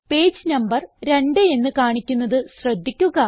page number 2 എന്ന് കാണിക്കുന്നത് ശ്രദ്ധിക്കുക